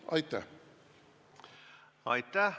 Aitäh!